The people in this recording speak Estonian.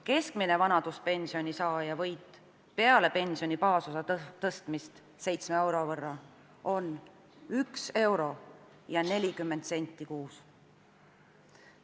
Keskmise vanaduspensioni saaja võit peale pensioni baasosa tõstmist 7 euro võrra on 1 euro ja 40 senti kuus.